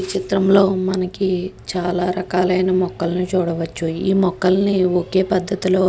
ఈ చిత్రంలో మనకి చాల రకాలయన మొక్కలని చూడవచ్చు. ఈ మొక్కలని ఒకే పడతి లో--